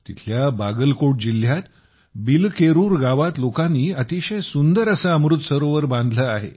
तिथल्या बागलकोट जिल्ह्यात बिलकेरूर गावात लोकांनी अतिशय सुंदर असे अमृत सरोवर बांधले आहे